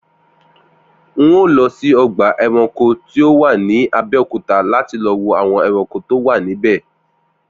N óò lọ sí ọgbà ẹranko tó wà ní Abẹ́òkúta láti lọ wo àwọn ẹranko tó wà níbẹ̀